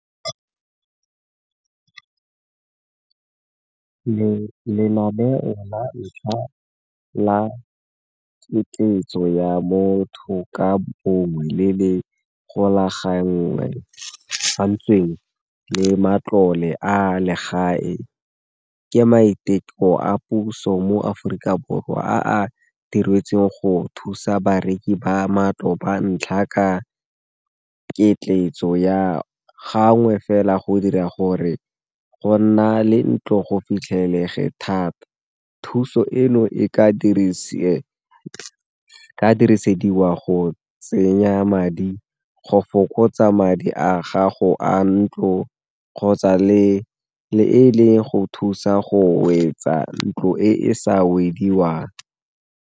Lenaneo la ntlha la ya motho ka bongwe le le golagantsweng le matlole a legae ke maiteko a puso mo Aforika Borwa, a a diretsweng go thusa bareki ba matlo ba ntlha ka ketletso ya gangwe fela go dira gore go nna le ntlo go fitlhelege thata. Thuso eno e ka dirisediwa go tsenya madi go fokotsa madi a gago a ntlo kgotsa le e leng go thusa go wetsa ntlo e e sa wediwang.